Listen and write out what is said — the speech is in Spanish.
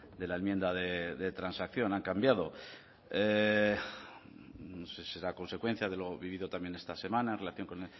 de la enmienda de transacción han cambiado no sé si será consecuencia de lo vivido también esta semana en relación con